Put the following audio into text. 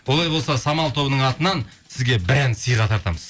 олай болса самал тобының атынан сізге бір ән сыйға тартамыз